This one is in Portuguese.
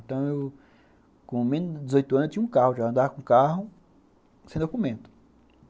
Então, com menos de dezoitos anos eu tinha um carro já, já andava com carro, sem documento.